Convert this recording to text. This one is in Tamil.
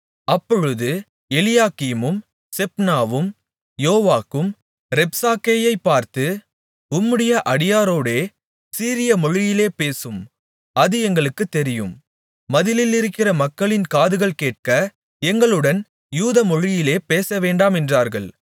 அப்பொழுது எலியாக்கீமும் செப்னாவும் யோவாக்கும் ரப்சாக்கேயைப் பார்த்து உம்முடைய அடியாரோடே சீரியமொழியிலே பேசும் அது எங்களுக்குத் தெரியும் மதிலிலிருக்கிற மக்களின் காதுகள் கேட்க எங்களுடன் யூதமொழியிலே பேசவேண்டாம் என்றார்கள்